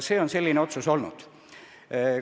Selline otsus tehti.